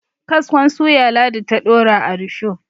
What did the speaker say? kaskon suya ladi ta Dora a rusho